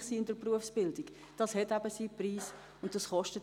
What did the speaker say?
Es hat seinen Preis, in der Berufsbildung dermassen erfolgreich zu sein.